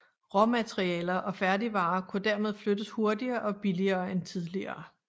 Råmaterialer og færdigvarer kunne dermed flyttes hurtigere og billigere end tidligere